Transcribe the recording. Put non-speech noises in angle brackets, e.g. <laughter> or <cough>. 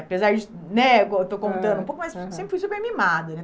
Apesar de né... Eu estou contando, <unintelligible> mas eu sempre fui super mimada.